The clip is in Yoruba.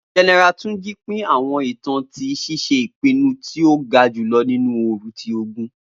General Tunji pin awọn itan ti ṣiṣe ipinnu ti o ga julọ ninu ooru ti ogun.